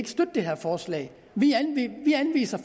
støtte det her forslag vi anviser